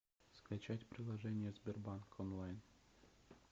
скачать приложение сбербанк онлайн